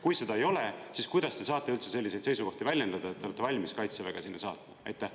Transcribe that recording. Kui seda ei ole, siis kuidas te saate üldse selliseid seisukohti väljendada, et te olete valmis Kaitseväge sinna saatma?